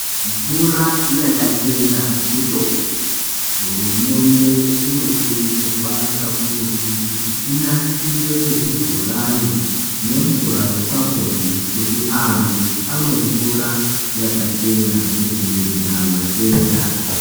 Mvura yakachena mutombo hurumende inokurudzirwa kakurutu kuti inasire zvibhorani nemvura yepapombi kuti antu amwe mvura yakachena kudzivirira matenda.